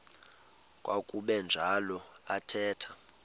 kwakuba njalo athetha